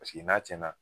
Paseke n'a cɛn na